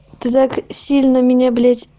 ты так сильно меня блять